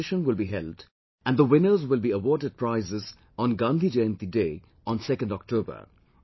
A competition will be held and the winners will be awarded prizes on Gandhi Jayanti Day on 2nd October